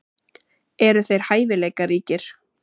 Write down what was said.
Eru þeir hæfileikaríkir?